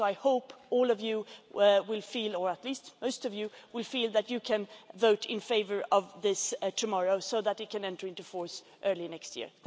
So, I hope all of you will feel, or at least most of you will feel, that you can vote in favour of this tomorrow so that it can enter into force early next year.